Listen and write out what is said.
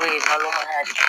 O ye balo yan